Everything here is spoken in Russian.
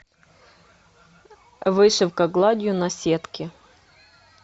вышивка гладью на сетке